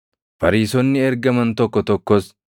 Fariisonni ergaman tokko tokkos,